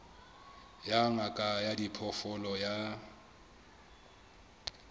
ya ngaka ya diphoofolo ya